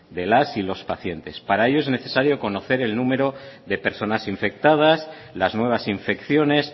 de las y los pacientes para ello es necesario conocer el número de personas infectadas las nuevas infecciones